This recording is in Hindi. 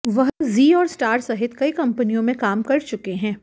वह जी और स्टार सहित कई कंपनियों में काम कर चुके हैं